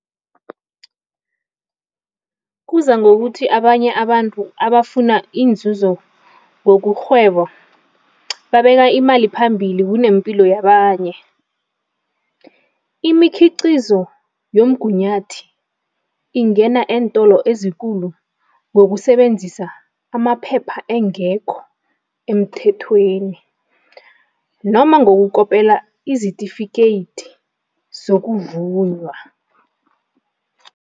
Kuza ngokuthi abanye abantu abafuna iinzuzo ngokurhwebo babeka imali phambili kunempilo yabanye. Imikhiqizo yomgunyathi ingena eentolo ezikulu ngokusebenzisa amaphepha engekho emthethweni noma ngokukopela izitifikeyiti zokuvunywa.